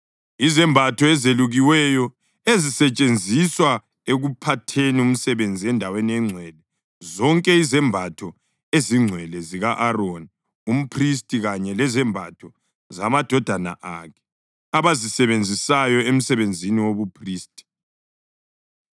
izembatho ezelukiweyo ezisetshenziswa ekuphatheni umsebenzi endaweni engcwele, zonke izembatho ezingcwele zika-Aroni umphristi kanye lezembatho zamadodana akhe abazisebenzisayo emsebenzini wobuphristi.”